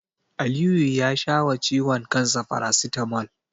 Aliyu ya sha wa ciwon kansa farasitamol.